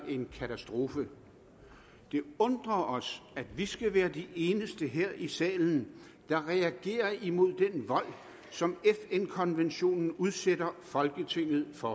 en katastrofe det undrer os at vi skal være de eneste her i salen der reagerer imod den vold som fn konventionen udsætter folketinget for